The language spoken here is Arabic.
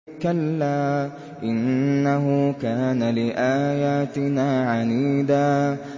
كَلَّا ۖ إِنَّهُ كَانَ لِآيَاتِنَا عَنِيدًا